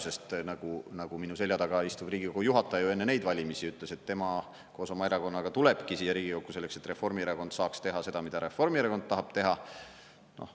Sest nagu minu selja taga istuv Riigikogu juhataja ju enne neid valimisi ütles, et tema koos oma erakonnaga tulebki siia Riigikokku selleks, et Reformierakond saaks teha seda, mida Reformierakond tahab teha.